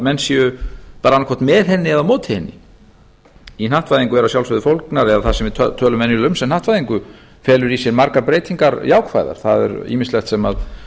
menn séu annaðhvort með henni eða móti henni í hnattvæðingu eru að sjálfsögðu fólgnar eða það sem við tölum um sem hnattvæðingu felur í sér margar breytingar jákvæðar það er ýmislegt sem